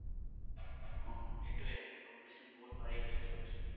উম সেইটোৱেই competition ও বহুত বাঢ়ি গৈছে তাৰ পাছত।